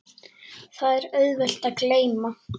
Það er auðvelt að gleyma.